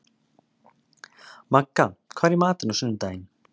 Magga, hvað er í matinn á sunnudaginn?